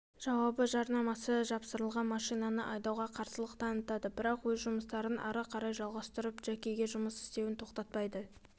жауабы жарнамасы жапсырылған машинаны айдауға қарсылық танытады бірақ өз жұмыстарын ары қарай жалғастырып джекиге жұмыс істеуін тоқтатпайды